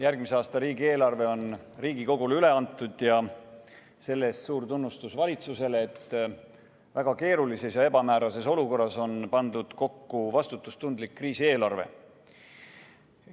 Järgmise aasta riigieelarve on Riigikogule üle antud ja selle eest suur tunnustus valitsusele, et väga keerulises ja ebamäärases olukorras on kokku pandud vastutustundlik kriisieelarve.